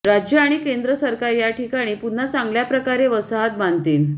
राज्य आणि केंद्र सरकार या ठिकाणी पुन्हा चांगल्याप्रकारे वसाहत बांधतील